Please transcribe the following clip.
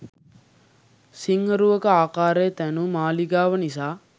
සිංහ රුවක ආකාරයට තැනූ මාළිගාව නිසා